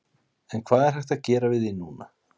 En hvað er hægt að gera við því núna?